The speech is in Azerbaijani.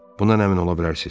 Bundan əmin ola bilərsiz.